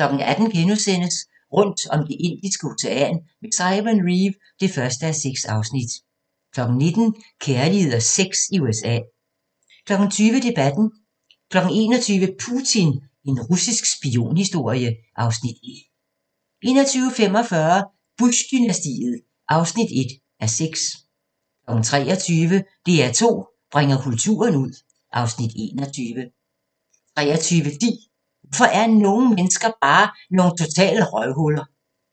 18:00: Rundt om Det Indiske Ocean med Simon Reeve (1:6)* 19:00: Kærlighed og sex i USA 20:00: Debatten 21:00: Putin – en russisk spionhistorie (Afs. 1) 21:45: Bush-dynastiet (1:6) 23:00: DR2 bringer kulturen ud (Afs. 21) 23:10: Hvorfor er nogle mennesker bare nogle totale røvhuller?